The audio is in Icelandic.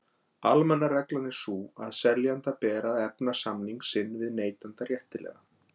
Almenna reglan er sú að seljanda ber að efna samning sinn við neytanda réttilega.